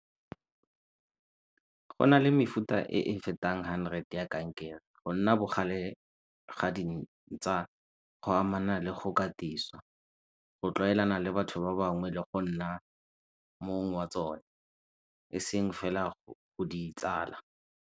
Go na le mefuta e e fetang hundred ya kankere. Go nna bogale ga go amana le go katisiwa, go tlwaelana le batho ba bangwe le go nna mong wa tsone e seng fela go di tsala.